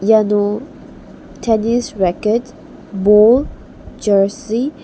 iano tenis reket bol jarsi --